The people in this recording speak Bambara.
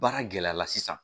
Baara gɛlɛya la sisan